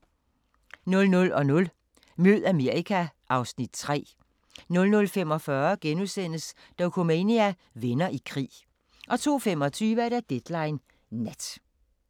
00:00: Mød Amerika (Afs. 3) 00:45: Dokumania: Venner i krig * 02:25: Deadline Nat